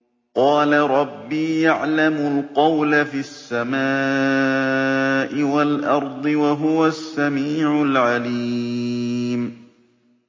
قَالَ رَبِّي يَعْلَمُ الْقَوْلَ فِي السَّمَاءِ وَالْأَرْضِ ۖ وَهُوَ السَّمِيعُ الْعَلِيمُ